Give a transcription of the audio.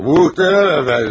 Muhterem əfəndim!